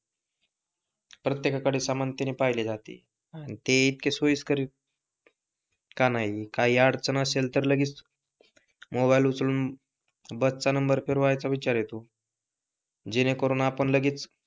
प्रत्येकाकडे समानतेने पहिले जाते ते इतके सोयीस्कर आहे काही अडचण असेल तर लगेच मोबाइल उचलून बसचा नंबर फिरवायचा विचार येतो जेणे करून आपण लगेच,